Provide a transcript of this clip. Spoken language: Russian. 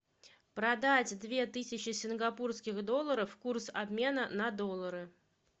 продать две тысячи сингапурских долларов курс обмена на доллары